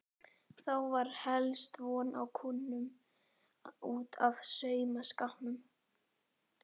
Þá var helst von á kúnnum út af saumaskapnum.